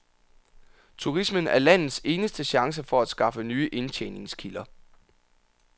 Turismen er landets eneste chance for at skaffe nye indtjeningskilder.